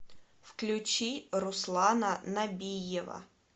включи руслана набиева